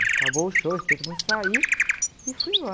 Acabou o show, eu esperei todo mundo sair e fui embora.